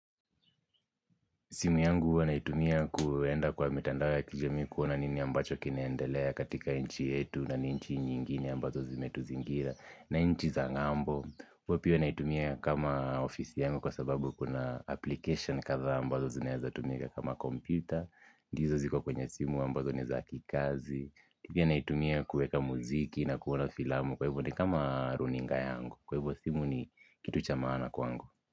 Simu yangu huwa naitumia kuenda kwa mitandao ya kijamii kuona nini ambacho kinaendelea katika nchi yetu na nchi nyingine ambazo zimetuzingira na nchi za ngambo. Huwa pia naitumia kama ofisi yangu kwa sababu kuna application kadhaa ambazo zinaeza tumika kama computer. Ndizo ziko kwenye simu ambazo ni za kikazi. Pia naitumia kuweka muziki na kuona filamu kwa hivyo ni kama runinga yangu kwa hivyo simu ni kitu cha maana kwangu.